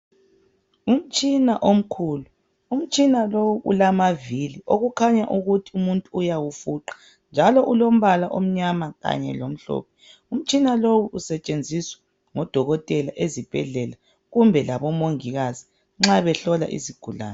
umtshina omkhulu umtshina lowu ulamavili okukhanya ukuthi umuntu uyawufuqa njalo ulombala omnyama kanye lomhlophe umtshina lowu usetshenziswa ngodokotela ezibhedlela kumbe labo mongikazi nxa behlola izigulane